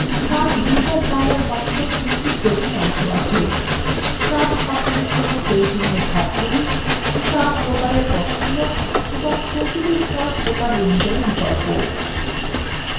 chart wizard dialog box এর তিনটি প্রধান অংশ আছে chart স্থাপনের জন্য প্রয়োজনীয় ধাপগুলি chart প্রকারের পছন্দ এবং প্রতিটি chart প্রকার অনুযাই বিকল্প